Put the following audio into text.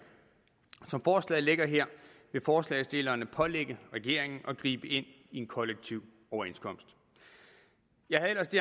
som forslaget ligger her vil forslagsstillerne pålægge regeringen at gribe ind i en kollektiv overenskomst jeg havde ellers det